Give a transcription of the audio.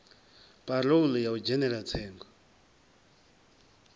parole ya u dzhenela tsengo